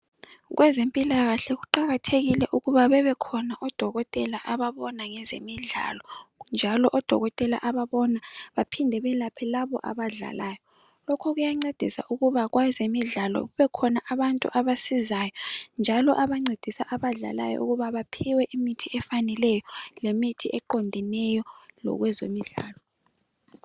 Kwezempilakahle kuqakathekile ukuba bebekhona odokotela ababona ngezemidlalo njalo odokotela ababona baphinde belaphe labo abadlalayo. Lokhu kuyancedisa ukuba kwezemidlalo kubekhona abantu abasizayo njalo abancedisa abadlalayo ukuba baphiwe imithi efaneleyo lemithi eqondeneyo lokwezemidlalo